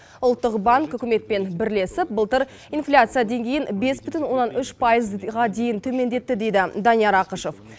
ұлттық банк үкіметпен бірлесіп былтыр инфляция деңгейін бес бүтін оннан үш пайызға дейін төмендетті дейді данияр ақышев